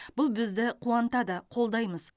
бұл бізді қуантады қолдаймыз